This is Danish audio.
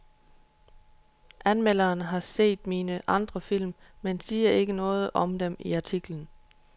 Anmelderen har set mine andre film, men siger ikke noget om dem i artiklen.